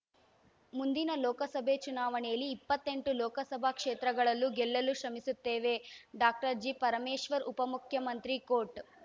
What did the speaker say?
ಮುಂದಿನ ಲೋಕಸಭೆ ಚುನಾವಣೆಯಲ್ಲಿ ಇಪ್ಪತ್ತೆಂಟು ಲೋಕಸಭಾ ಕ್ಷೇತ್ರಗಳಲ್ಲೂ ಗೆಲ್ಲಲು ಶ್ರಮಿಸುತ್ತೇವೆ ಡಾಕ್ಟರ್ ಜಿ ಪರಮೇಶ್ವರ್‌ ಉಪಮುಖ್ಯಮಂತ್ರಿ ಕೋಟ್‌